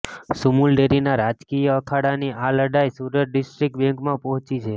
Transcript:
સુમુલડેરીના રાજકીય અખાડાની આ લડાઇ સુરત ડિસ્ટ્રીક્ટ બેંકમાં પહોંચી છે